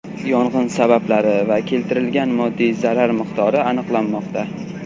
Yong‘in sabablari va keltirilgan moddiy zarar miqdori aniqlanmoqda.